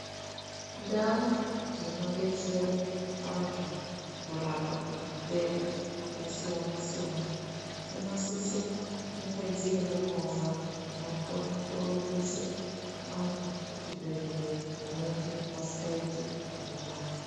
Ndau dzinodetsera antu kurapa matenda yakasiyana siyana dzinosisa kunge dzine movha dzinokona kuorimbisa vantu kuchibhedhleya vanenge vasingaiiti zvakanaka.